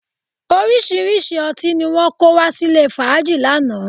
Orísìíríṣìí ọtí ni wọn kó wá sílè fàájì lánàá